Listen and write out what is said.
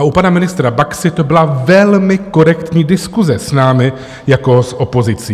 A u pana ministra Baxy to byla velmi korektní diskuse s námi jako s opozicí.